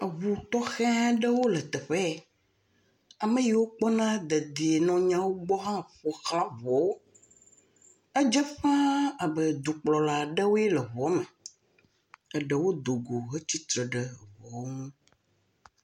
Eŋutɔxe aɖewo le teƒe ye ame yiwo kpɔna dedienɔnɔ gbɔ hã ƒoxla eŋuawo, edze ƒaa be dukplɔla ɖewoe le eŋua me, eɖewo do go hetsitre ɖe eŋuawo ŋu.